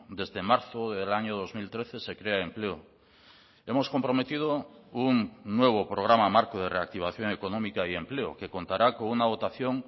desde marzo del año dos mil trece se crea empleo hemos comprometido un nuevo programa marco de reactivación económica y empleo que contará con una votación